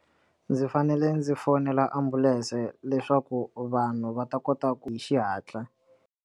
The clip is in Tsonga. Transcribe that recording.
Ndzi fanele ndzi fonela ambulense leswaku vanhu va ta kota ku hi xihatla.